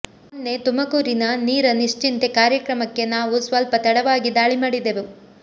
ಮೊನ್ನೆ ತುಮಕೂರಿನ ನೀರ ನಿಶ್ಚಿಂತೆ ಕಾರ್ಯಕ್ರಮಕ್ಕೆ ನಾವು ಸ್ವಲ್ಪ ತಡವಾಗಿ ಧಾಳಿ ಮಾಡಿದೆವು